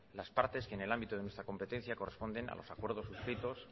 las partes que en el ámbito de nuestra de competencia corresponden a los acuerdos suscritos